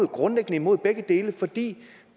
grundlæggende imod begge dele fordi det